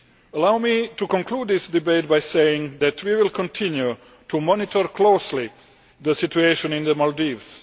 Allow me to conclude this debate by saying that we will continue to monitor closely the situation in the Maldives.